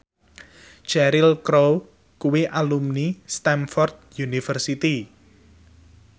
Cheryl Crow kuwi alumni Stamford University